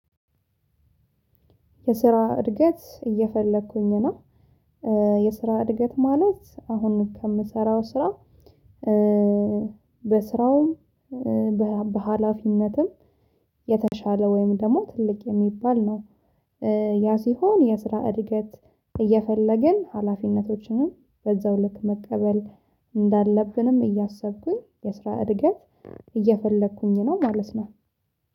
የስራ እድገት እየፈለኩኝ እና የስራ እድገት ማለት አሁን ከምሰራው ስራ በስራውም በሃላፊነትም የተሻለ ወይም ደግሞ ትልቅ የሚባል ነው። ያ ሲሆን የስራ እድገት እየፈለግን ሀላፊነቶችንም በዛው ልክ መቀበል እንዳለብንም እያሰብኩኝ የስራ እድገት እየፈለኩኝ ነው ማለት ነው።